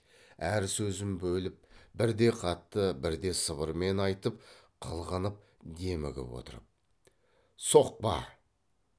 әр сөзін бөліп бірде қатты бірде сыбырмен айтып қылғынып демігіп отырып соқпа